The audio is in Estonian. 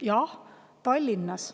Jah, Tallinnas